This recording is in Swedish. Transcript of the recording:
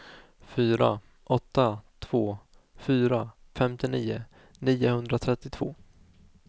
fyra åtta två fyra femtionio niohundratrettiotvå